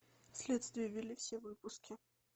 следствие вели все выпуски